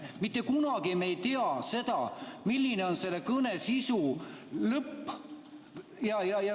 Mitte kunagi ei tea me seda, milline on selle kõne lõpp.